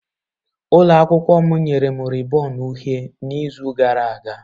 Ụlọ akwụkwọ m nyere m rịbọn uhie n'izu gara aga.